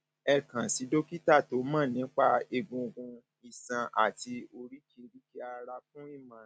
ẹ kàn sí dókítà tó mọ nípa egungun iṣan àti oríkèéríkèé ara fún ìmọràn